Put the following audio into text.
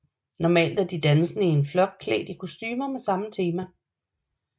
Normalt er de dansende i én blok klædt i kostumer med samme tema